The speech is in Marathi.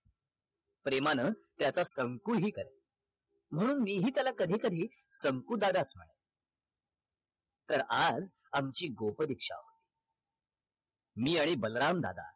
प्रेमान त्याचा संकु हि करे म्हणून मीही त्याला कधी कधी संकु दादाच तर आज आमची गोप दीक्षा मी आणि बलराम दादा